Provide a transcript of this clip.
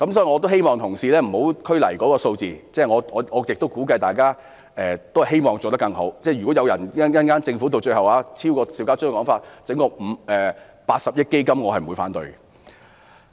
我希望同事不要拘泥於數字，我亦相信大家都希望做得更好，如果政府最終提出高於邵家臻議員的說法，提出設立一項80億元的基金，我是不會反對的。